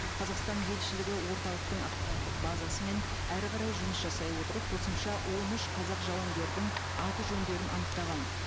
қазақстан елшілігі орталықтың ақпараттық базасымен әрі қарай жұмыс жасай отырып қосымша он үш қазақ жауынгердің аты жөндерін анықтаған